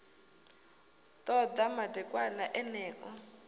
ḓo ḓa madekwana eneo u